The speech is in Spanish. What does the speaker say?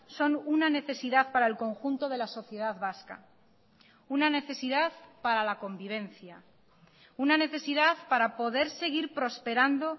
son una necesidad para el conjunto de la sociedad vasca una necesidad para la convivencia una necesidad para poder seguir prosperando